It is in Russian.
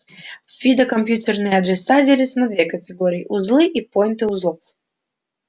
в фидо компьютерные адреса делятся на две категории узлы и пойнты узлов